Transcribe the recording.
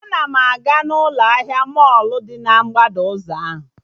Ana m aga na ụlọ ahịa mọlụ dị na mgbada ụzọ ahụ